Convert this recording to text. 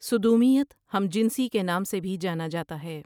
سدومیت ہم جنسی کے نام سے بھی جانا جاتا ہے ۔